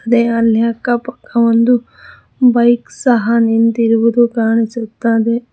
ಅಲ್ಲಿ ಅಕ್ಕಪಕ್ಕ ಒಂದು ಬೈಕ್ ಸಹ ನಿಂತಿರುವುದು ಕಾಣಿಸುತ್ತದೆ.